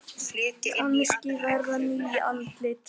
Kannski verða ný andlit.